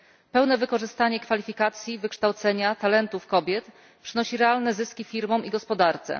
Pełne wykorzystanie kwalifikacji, wykształcenia i talentów kobiet przynosi realne zyski firmom i gospodarce.